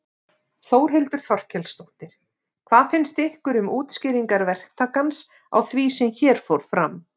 Þórhildur Þorkelsdóttir: Hvað finnst ykkur um útskýringar verktakans á því sem hér fór fram?